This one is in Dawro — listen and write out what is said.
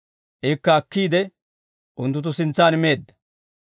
Ikka akkiide unttunttu sintsaan meedda.